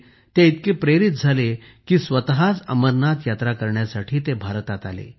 त्यामुळे ते इतके प्रेरित झाले की स्वतःच अमरनाथ यात्रा करण्यासाठी भारतात आले